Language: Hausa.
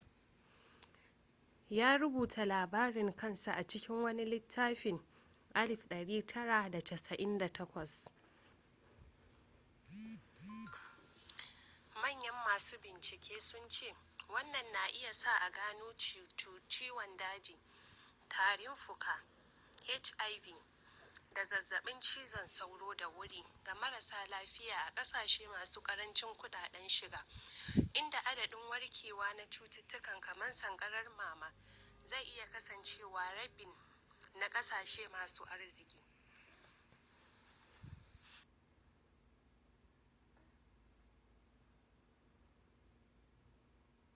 ya rubuta labarin kansa a cikin wani littafin 1998